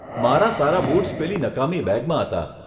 મારા સારા બૂટ્સ પેલી નકામી બેગમાં હતા.